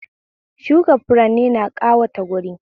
Shuka furanni na ƙawata wuri